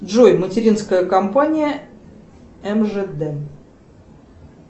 джой материнская компания мжд